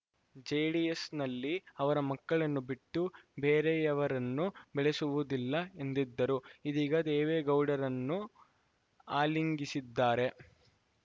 ಜೆಡಿಎಸ್‌ನಲ್ಲಿ ಅವರ ಮಕ್ಕಳನ್ನು ಬಿಟ್ಟು ಬೇರೆಯವರನ್ನು ಬೆಳೆಸುವುದಿಲ್ಲ ಎಂದಿದ್ದರು ಇದೀಗ ದೇವೇಗೌಡರನ್ನು ಆಲಿಂಗಿಸಿದ್ದಾರೆ